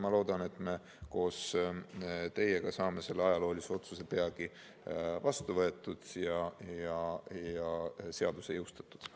Loodan, et me koos teiega saame selle ajaloolise otsuse peagi vastu võetud ja seaduse jõustatud.